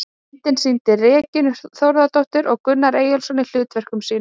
Myndin sýnir Regínu Þórðardóttur og Gunnar Eyjólfsson í hlutverkum sínum.